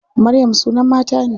Maryam sunan mata ne.